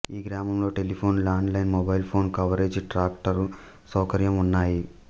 ఈ గ్రామంలో telephone land line mobile phone coverage tractor సౌకర్యం ఉన్నాయి